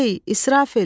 Ey, İsrafil!